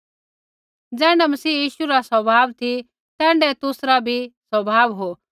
ज़ैण्ढा मसीह यीशु रा स्वभाव ती तैण्ढाऐ तुसरा भी स्वभाव हो